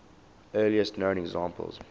earliest known examples